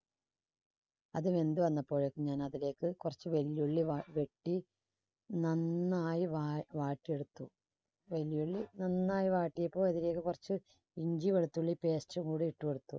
അത് വെന്ത് വന്നപ്പോഴേക്കും ഞാൻ അതിലേക്ക് കുറച്ച് വലിയ ഉള്ളി വ~വെട്ടി നന്നായി വ~വാട്ടിയെടുത്തു വലിയ ഉള്ളി നന്നായി വാട്ടിയിട്ട് അതിലേക്ക് കുറച്ച് ഇഞ്ചി വെളുത്തുള്ളി paste ും കൂടി ഇട്ടുകൊടുത്തു.